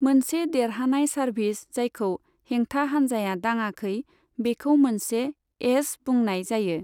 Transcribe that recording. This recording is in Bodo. मोनसे देरहानाय सार्भिस जायखौ हेंथा हानजाया दाङाखै बेखौ मोनसे 'एस' बुंनाय जायो।